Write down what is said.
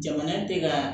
Jamana tɛ ka